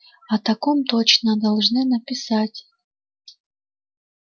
о таком точно должны написать